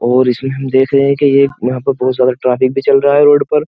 और इसमें हम देख रहे हैं की ये यहां पर बहोत सारा ट्रैफिक भी चल रहा है रोड पर।